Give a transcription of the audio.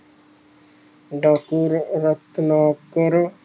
ਡਾਕੁਰ ਅਵਸਥਾ ਕੇਰੇ